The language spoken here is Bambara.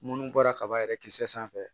Munnu bɔra kaba yɛrɛ kisɛ sanfɛ